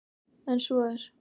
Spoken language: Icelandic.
En svo er